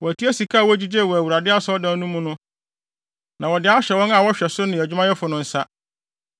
Wɔatua sika a wogyigyee wɔ Awurade Asɔredan no mu no na wɔde ahyɛ wɔn a wɔhwɛ so no ne adwumayɛfo no nsa.”